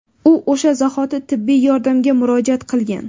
U o‘sha zahoti tibbiy yordamga murojaat qilgan.